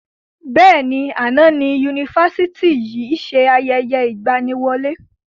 Bẹ́ẹ̀ni, àná ni Yunifásítì yìí ṣe ayẹyẹ ìgbàníwọlé